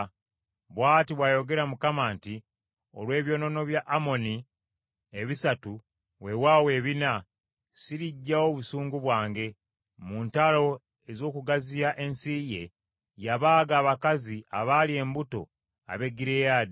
Bw’ati bw’ayogera Mukama nti, “Olw’ebyonoono bya Amoni ebisatu weewaawo ebina, siriggyawo busungu bwange. Mu ntalo ez’okugaziya ensi ye, yabaaga abakazi abaali embuto ab’e Giriyaadi.